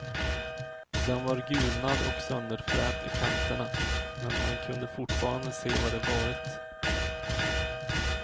Den var gulnad och sönderfrätt i kanterna, men man kunde fortfarande se vad det varit.